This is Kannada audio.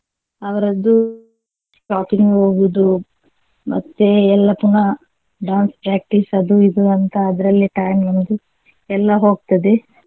ಅವರದ್ದು shopping ಹೋಗುದು ಮತ್ತೆ ಎಲ್ಲ ಪುನಃ dance practice ಅದು ಇದು ಅಂತ ಅದರಲ್ಲೇ time ಅನ್ನೋದು ಎಲ್ಲಾ ಹೋಗ್ತದೆ.